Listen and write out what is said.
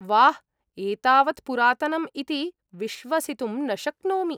वाह्, एतावत् पुरातनम् इति विश्वसितुं न शक्नोमि।